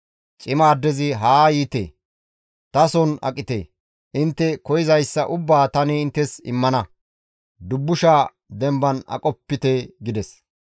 Cima addezi, «Haa yiite tason aqite! Intte koyzayssa ubbaa tani inttes immana; dubbusha demban aqopite» gides.